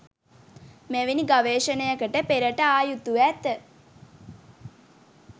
මෙවැනි ගවේෂණයකට පෙරට ආ යුතුව ඇත.